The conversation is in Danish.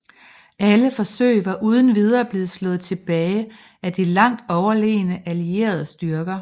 Alle forsøg var uden videre blevet slået tilbage af de langt overlegne allierede styrker